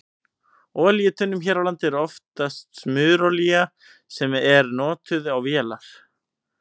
Í olíutunnum hér á landi er oftast smurolía sem er notuð á vélar.